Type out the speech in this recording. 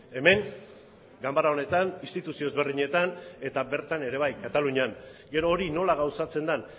hemen ganbara honetan instituzio ezberdinetan eta bertan ere bai katalunian gero hori nola gauzatzen den